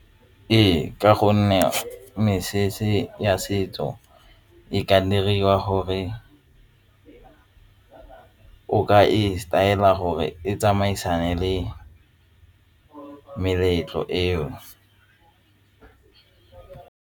Ee, ka gonne mesese ya setso e ka diriwa gore o ka e setaela gore e tsamaisane le meletlo eo.